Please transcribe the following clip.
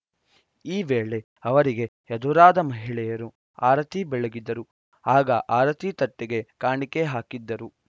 ಈ ವೇಳೆ ಅವರಿಗೆ ಎದುರಾದ ಮಹಿಳೆಯರು ಆರತಿ ಬೆಳಗಿದರು ಆಗ ಆರತಿ ತಟ್ಟೆಗೆ ಕಾಣಿಕೆ ಹಾಕಿದ್ದರು